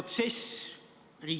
Suur tänu, hea eesistuja!